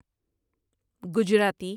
Gujarati